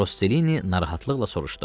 Rosselini narahatlıqla soruşdu.